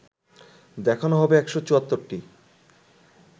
দেখানো হবে ১৭৪টি